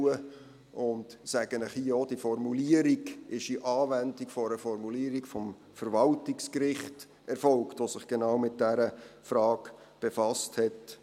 Und ich sage Ihnen hier auch: Diese Formulierung ist in Anwendung einer Formulierung des Verwaltungsgerichts erfolgt, welches sich mit genau dieser Frage befasst hat.